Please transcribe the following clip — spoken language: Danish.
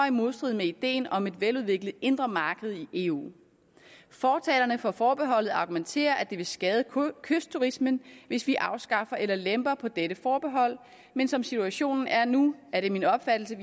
i modstrid med ideen om et veludviklet indre marked i eu fortalerne for forbeholdet argumenterer med at det vil skade kystturismen hvis vi afskaffer eller lemper på dette forbehold men som situationen er nu er det min opfattelse